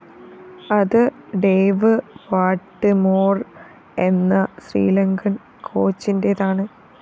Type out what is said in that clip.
അത് Dave Whatmore‍ എന്ന ശ്രീലങ്കന്‍ കോച്ചിന്റേതാണ്